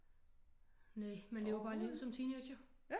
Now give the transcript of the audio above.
Næ man lever bare livet som teenager